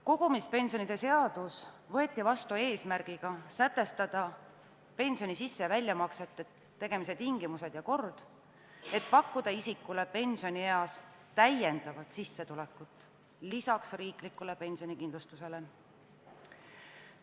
Kogumispensionide seadus võeti vastu eesmärgiga sätestada pensioni sisse- ja väljamaksete tegemise tingimused ja kord, et pakkuda inimestele pensionieas riikliku pensionikindlustuse kõrval veel lisasissetulekut.